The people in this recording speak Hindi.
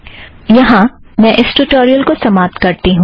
यहाँ मैं इस ट्यूटोरियल को समाप्त करती हूँ